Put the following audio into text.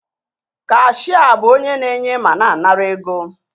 Kashịa bụ onye na-enye ma na-anara ego